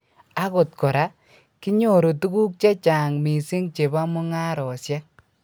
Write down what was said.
Akot kora, kinyoru tukuk che chang mising chebo mungaresiek